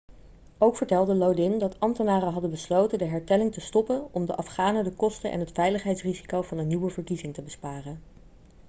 ook vertelde lodin dat ambtenaren hadden besloten de hertelling te stoppen om de afghanen de kosten en het veiligheidsrisico van een nieuwe verkiezing te besparen